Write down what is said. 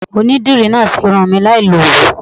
Onídìrí náà ṣe irun mi láì lo Òwú.